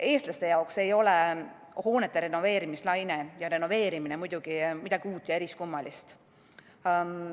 Eestlaste jaoks ei ole hoonete renoveerimine midagi uut ja eriskummalist.